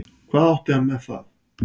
Hvað átti hann með það?